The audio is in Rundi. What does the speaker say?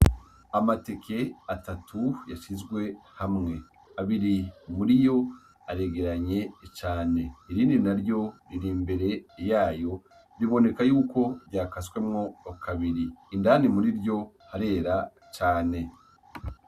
Amateke atatu yashizwe hamwe abiri muri yo aregeranye cane irindi na ryo riri imbere yayo riboneka yuko ryakaswemwo kabiri indani muri ryo harera cane.